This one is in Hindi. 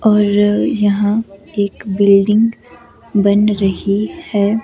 और यहां एक बिल्डिंग बन रही है।